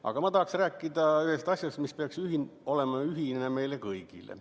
Aga ma tahaksin rääkida ühest asjast, mis peaks olema ühine meile kõigile.